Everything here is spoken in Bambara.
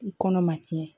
I kɔnɔ ma tiɲɛ